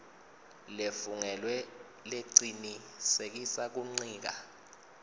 lefungelwe lecinisekisa kuncika